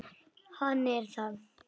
Hann er það.